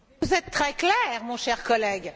Vous êtes très clair, mon cher collègue.